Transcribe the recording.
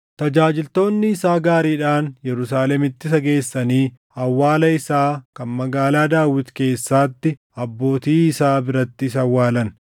Tajaajiltoonni isaa gaariidhaan Yerusaalemitti isa geessanii awwaala isaa kan Magaalaa Daawit keessaatti abbootii isaa biratti isa awwaalan.